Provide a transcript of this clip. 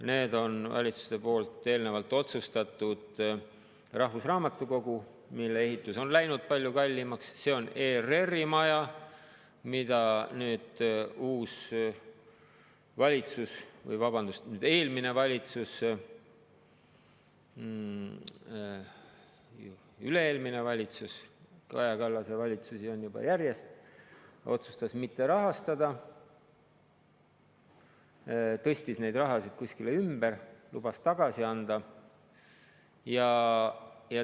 See on valitsuse poolt eelnevalt otsustatud rahvusraamatukogu, mille ehitus on läinud palju kallimaks, see on ERR-i maja, mida uus valitsus, või vabandust, eelmine valitsus või üle-eelmine valitsus – Kaja Kallase valitsusi on olnud juba järjest – otsustas mitte rahastada, tõstis raha kuskile ümber, lubas tagasi anda.